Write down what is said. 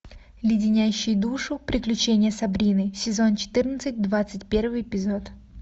леденящие душу приключения сабрины сезон четырнадцать двадцать первый эпизод